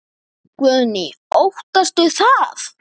Guðný: Óttastu það?